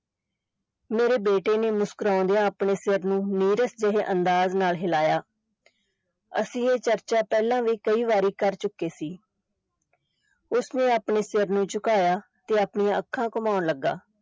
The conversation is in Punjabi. ਮੇਰੇ ਬੇਟੇ ਨੇ ਮੁਸਕਰਾਂਦਿਆਂ ਆਪਣੇ ਸਿਰ ਨੂੰ ਨੀਰਸ ਜਿਹੇ ਅੰਦਾਜ਼ ਨਾਲ ਹਿਲਾਇਆ ਅਸੀਂ ਇਹ ਚਰਚਾ ਪਹਿਲਾਂ ਵੀ ਕਈ ਵਾਰੀ ਕਰ ਚੁੱਕੇ ਸੀ ਉਸ ਨੇ ਆਪਣੇ ਸਿਰ ਨੂੰ ਝੁਕਾਇਆ ਤੇ ਆਪਣੀਆਂ ਅੱਖਾਂ ਘੁਮਾਉਣ ਲੱਗਾ।